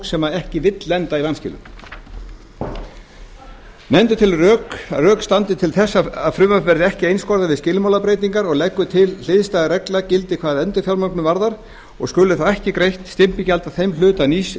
sem ekki vill lenda í vanskilum nefndin telur að rök standi til þess að frumvarpið verði ekki einskorðað við skilmálabreytingar og leggur til að hliðstæð regla gildi hvað endurfjármögnun varðar og skuli þá ekki greitt stimpilgjald af þeim hluta nýs